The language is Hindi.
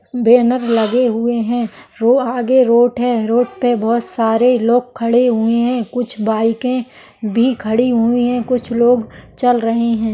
बैनर लगे हुए है रो आगे रोट है रोट पे बहुत सारे लोग खड़े हुए है कुछ बाइके भी खडी हुए है कुछ लोग चल रहे है।